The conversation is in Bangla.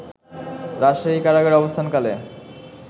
রাজশাহী কারাগারে অবস্থানকালে